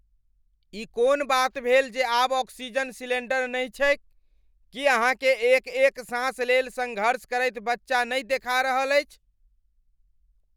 ई कोन बात भेल जे आब ऑक्सीजन सिलेंडर नहि छैक? की अहाँकेँ एक एक साँस लेल सङ्घर्ष करैत बच्चा नहि देखा रहल अछि?